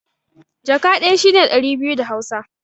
Jaka ɗaya shi ne ɗari biyu da Hausa.